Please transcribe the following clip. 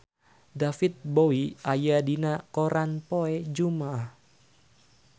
David Bowie aya dina koran poe Jumaah